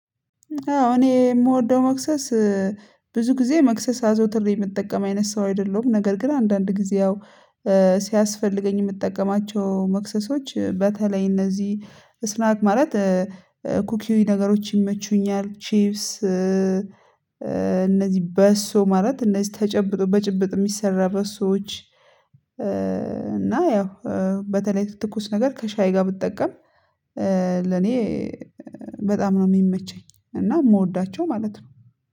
አዎ እኔ የምወደው መክሰስ ብዙ ጊዜ መክሰስ አዘውትሬ የምጠቀም አይነት ሰው አይደለሁም። ነገር ግን አንዳንድ ጊዜ ያው ሲያስፈልገኝ የምጠቀማቸው መክሰሶች በተለይ እነዚህ ስናክ ማለት ኩኪ ነገሮች ይመቹኛል። ቺፕስ እነዚህ በሶ ማለት እነዚህ ተጨብጦ በጭብጥ የሚሰራ በሶች። እና ያው በተለይ ትኩስ ነገር ከሻይ ጋር ብትጠቀም ለኔ በጣም ነው የሚመቸኝ። እና የምወዳቸው ማለት ነው